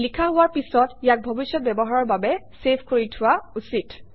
লিখা হোৱাৰ পিছত ইয়াক ভৱিষ্যৎ ব্যৱহাৰৰ বাবে চেভ কৰি থোৱা উচিত